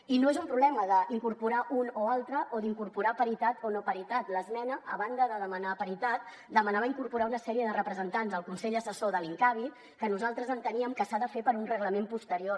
i no és un problema d’incorporar un o altre o d’incorporar paritat o no paritat l’esmena a banda de demanar paritat demanava incorporar una sèrie de representants al consell assessor de l’incavi que nosaltres enteníem que s’ha de fer per un reglament posterior